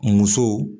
Musow